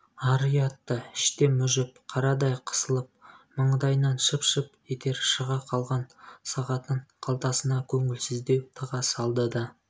ар-ұяты іштен мүжіп қарадай қысылып маңдайынан шып-шып етер шыға қалған сағатын қалтасына көңілсіздеу тыға салды да